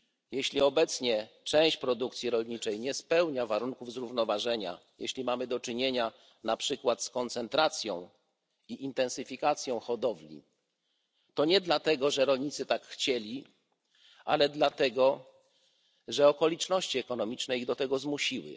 Jeśli obecnie część produkcji rolniczej nie spełnia warunków zrównoważenia, jeśli mamy do czynienia np. z koncentracją i intensyfikacją hodowli, to nie dlatego, że rolnicy tak chcieli, ale dlatego że okoliczności ekonomiczne ich do tego zmusiły.